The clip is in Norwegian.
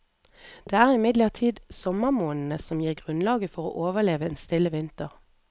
Det er imidlertid sommermånedene som gir grunnlaget for å overleve en stille vinter.